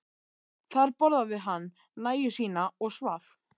Þar borðaði hann nægju sína og svaf.